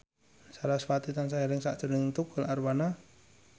sarasvati tansah eling sakjroning Tukul Arwana